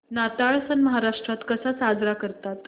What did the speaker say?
नाताळ सण महाराष्ट्रात कसा साजरा करतात